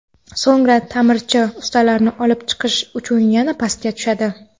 So‘ngra ta’mirchi ustalarni olib chiqish uchun yana pastga tushadi.